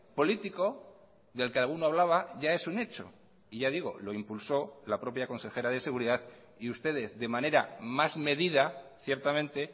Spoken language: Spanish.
político del que alguno hablaba ya es un hecho y ya digo lo impulsó la propia consejera de seguridad y ustedes de manera más medida ciertamente